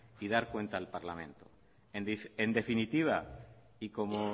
y dar cuenta al parlamento en definitiva y como